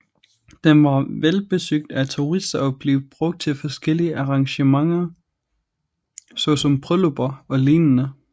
Den var velbesøgt af turister og blev brugt til forskellige arrangementer såsom bryllupper eller lignende